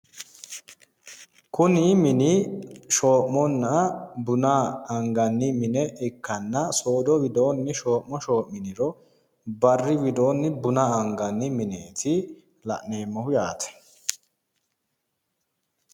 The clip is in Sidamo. Kuni mini shoo'munna buna anganni mine ikkanna soodo widoonni shoo'ma shoo'miniro barri widoonni buna anganni mineeti la'neemmohu yaate.